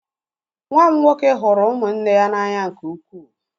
Nwa m nwoke hụrụ ụmụnne ya n'anya nke ukwuu.